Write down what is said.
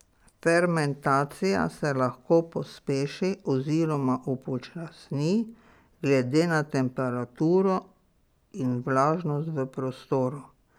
Fermentacija se lahko pospeši oziroma upočasni glede na temperaturo in vlažnost v prostoru.